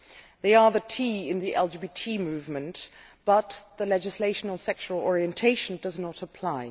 They are the T' in the LGBT movement, but the legislation on sexual orientation does not apply.